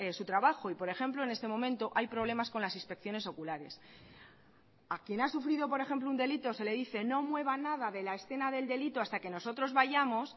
su trabajo y por ejemplo en este momento hay problemas con las inspecciones oculares a quien ha sufrido por ejemplo un delito se le dice no mueva nada de la escena del delito hasta que nosotros vayamos